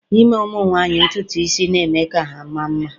ime ụmụ nwanyị ntutu isi, na-eme ka ha maa mma